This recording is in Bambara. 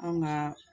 An ka